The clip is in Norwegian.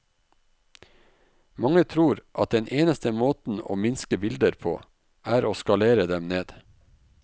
Mange tror at den eneste måten å minske bilder på, er å skalere dem ned.